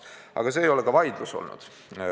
Aga mitte selle üle ei ole vaidlus olnud.